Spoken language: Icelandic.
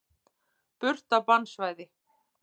Burt af bannsvæði.